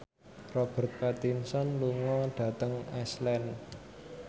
Robert Pattinson lunga dhateng Iceland